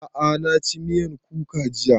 A'a na ci miyan kuka jiya